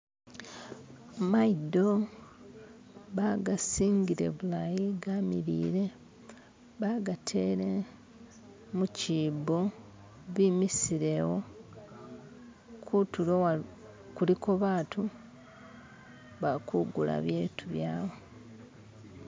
Maido bagasingile bulayi ga milile, bagatele mukibo bimisile awo kutulo kuliko batu bali kugula bitu bawe.